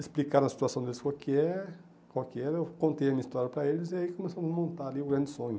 explicaram a situação deles, qual que é qual que era, eu contei a minha história para eles e aí começamos a montar ali o grande sonho.